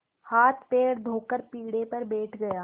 हाथपैर धोकर पीढ़े पर बैठ गया